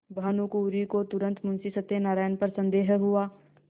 भानुकुँवरि को तुरन्त मुंशी सत्यनारायण पर संदेह हुआ